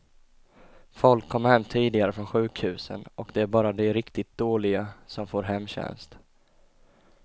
Folk kommer hem tidigare från sjukhusen, och det är bara de riktigt dåliga som får hemtjänst.